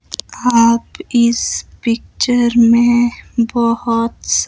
आप इस पिक्चर मे बहोत स--